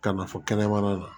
Ka na fɔ kɛnɛmana na